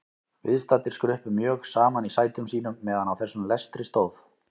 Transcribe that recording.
Viðstaddir skruppu mjög saman í sætum sínum meðan á þessum lestri stóð.